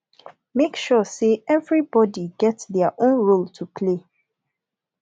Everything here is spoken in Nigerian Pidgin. make sure say every body get their own role to play